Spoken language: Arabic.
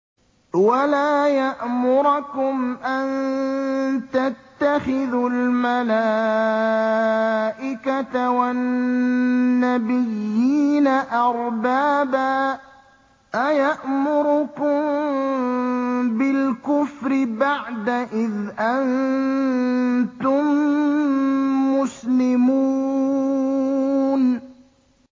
وَلَا يَأْمُرَكُمْ أَن تَتَّخِذُوا الْمَلَائِكَةَ وَالنَّبِيِّينَ أَرْبَابًا ۗ أَيَأْمُرُكُم بِالْكُفْرِ بَعْدَ إِذْ أَنتُم مُّسْلِمُونَ